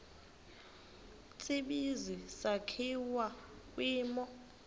tsibizi sakhiwa kwimo